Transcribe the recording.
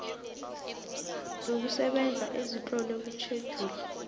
zokusebenza ezitlolwe kutjhejuli